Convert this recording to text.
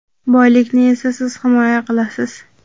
Boylikni esa siz himoya qilasiz.